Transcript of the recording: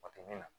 O tɛ min na